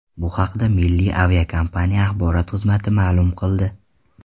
Bu haqda Milliya aviakompaniya axborot xizmati ma’lum qildi .